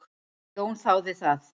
Jón þáði það.